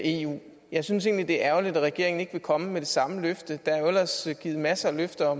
eu jeg synes egentlig det er ærgerligt at regeringen ikke vil komme med det samme løfte der er jo ellers givet masser af løfter